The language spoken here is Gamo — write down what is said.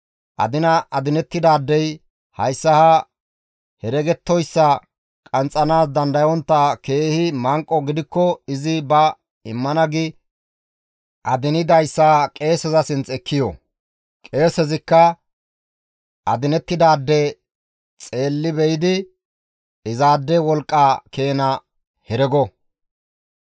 Adina adinettidaadey hayssa ha heregettoyssa qanxxanaas dandayontta keehi manqo gidikko izi ba immana gi adinidayssa qeeseza sinth ekki yo; qeesezikka adinettidaade xeelli be7idi izaade wolqqa keena herego.